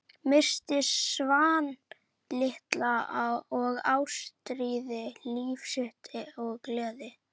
Missti Svan litla og Ástríði, líf sitt og gleði.